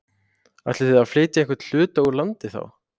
Ætlið þið að flytja einhvern hluta úr landi þá?